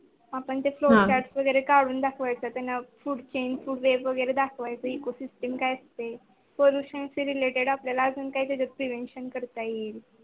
आपण ते flowchart वगेरे काढून दाखवायचे. दाखवायचे Ecosystem काय असते. Pollution related आपल्याला अजून काही तरी Prevention करता येईल.